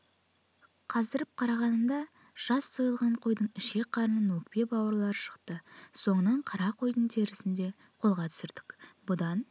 қаздырып қарағанымда жас сойылған қойдың ішек-қарын өкпе-бауырлары шықты соңынан қара қойдың терісін де қолға түсірдік бұдан